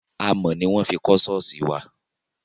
Amọ̀ ni wọn fi kọ ṣọ́ọ̀ṣì wa.